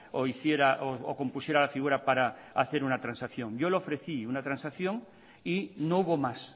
o hiciera o compusiera la figura para hacer una transacción yo le ofrecí una transacción y no hubo más